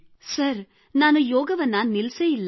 sir ನಾನು ಯೋಗವನ್ನು ನಿಲ್ಲಿಸಿಯೇ ಇಲ್ಲ